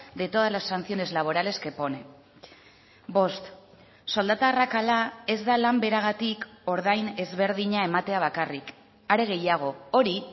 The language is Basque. de todas las sanciones laborales que pone bost soldata arrakala ez da lan beragatik ordain ezberdina ematea bakarrik are gehiago hori